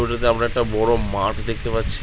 আমরা একটা বড় মাঠ দেখতে পাচ্ছি।